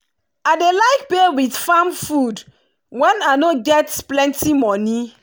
i dey like pay with farm food when i no get plenti money.